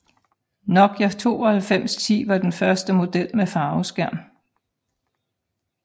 Nokia 9210 var den første model med farveskærm